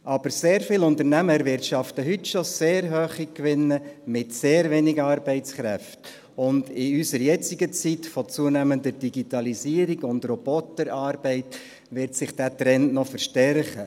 Aber sehr viele Unternehmen erwirtschaften heute schon sehr hohe Gewinne mit sehr wenigen Arbeitskräften, und in der jetzigen Zeit von zunehmender Digitalisierung und Roboterarbeit wird sich dieser Trend noch verstärken.